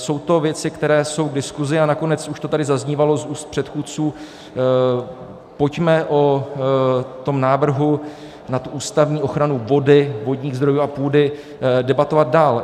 Jsou to věci, které jsou k diskuzi, a nakonec už to tady zaznívalo z úst předchůdců - pojďme o tom návrhu na ústavní ochranu vody, vodních zdrojů a půdy debatovat dál.